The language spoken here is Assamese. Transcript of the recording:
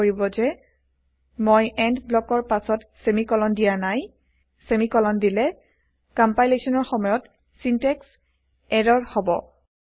মন কৰিব যে মই এণ্ড ব্লকৰ পাছত চেমিকলন দিয়া নায় চেমিকলন দিলে কম্পাইলেচনৰ সময়ত চিনটেক্স ইৰৰ হব